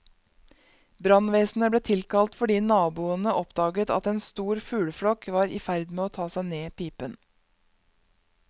Brannvesenet ble tilkalt fordi naboene oppdaget at en stor fugleflokk var i ferd med å ta seg ned pipen.